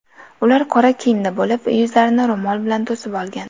Ular qora kiyimda bo‘lib, yuzlarini ro‘mol bilan to‘sib olgan.